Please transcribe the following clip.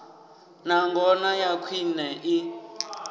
na ngona ya khwine i